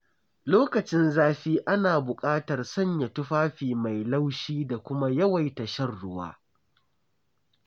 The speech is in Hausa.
Lokacin zafi ana buƙatar sanya tufafi mai laushi da kuma yawaita shan ruwa.